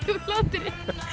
úr hlátri